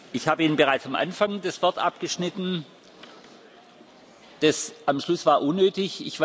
Ich habe Ihnen bereits am Anfang das Wort abgeschnitten. Das am Schluss war unnötig.